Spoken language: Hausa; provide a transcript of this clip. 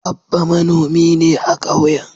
Abba manomi ne a kauyen.